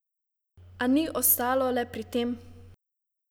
A ni ostalo le pri tem.